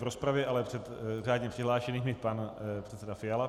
V rozpravě, ale před řádně přihlášenými, pan předseda Fiala.